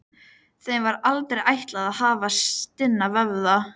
Þeim var aldrei ætlað að hafa stinna vöðva.